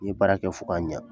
N ye baara kɛ fo k'a ɲa